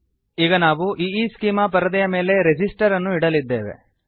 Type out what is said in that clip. ಈಗ ನಾವು ಈಸ್ಚೆಮಾ ಪರದೆಯ ಮೇಲೆ ರೆಸಿಸ್ಟರ್ ಅನ್ನು ಇಡಲಿದ್ದೇವೆ